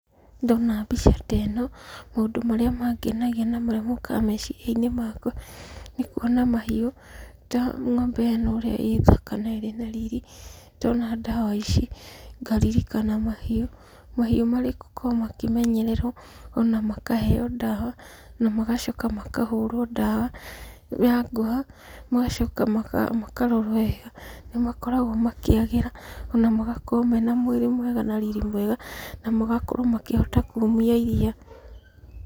Ndona mbica ta ĩno, maũndũ marĩa mangenagia na marĩa mokaga meciria-inĩ makwa, ni kuona mahiũ ta ng'ombe ĩno ũria ĩ thaka na ĩrĩ na riri, ndona ndawa ici, ngaririkana mahiũ. Mahiũ marĩ gũkorwo makĩmenyererwo ona makaheo ndawa na magacoka makahũrwo ndawa ya ngũha, magacoka makarorwo wega, nĩ makoragwo makĩagĩra, ona magakorwo mena mwĩrĩ mwega na riri mwega, na magakorwo makĩhota kuumia iria.